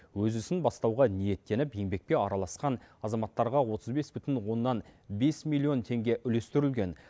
өз ісін бастауға ниеттеніп еңбекке араласқан азаматтарға отыз бес бүтін оннан бес миллион теңге үлестірілген